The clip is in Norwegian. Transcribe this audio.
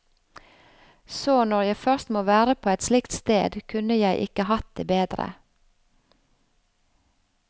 Så når jeg først må være på et slikt sted, kunne jeg ikke hatt det bedre.